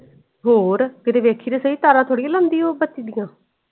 ਹੋਰ ਕੀਤੇ ਵੇਖੀ ਤੇ ਸਹੀ ਤਾਰਾਂ ਥੋੜੀ ਲਾਉਂਦੀ ਉਹ ਬੱਤੀ ਦੀਆਂ।